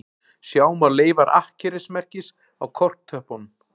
Sjá má leifar akkerismerkis á korktöppunum